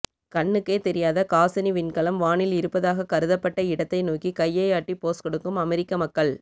கண்ணுக்கே தெரியாத காசினி விண்கலம் வானில் இருப்பதாகக் கருதப்பட்ட இடத்தை நோக்கி கையை ஆட்டி போஸ் கொடுக்கும் அமெரிக்க மக்கள்